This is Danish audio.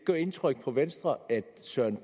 så er det